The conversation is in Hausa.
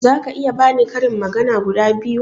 Zaka iya bani karin magana guda biyu?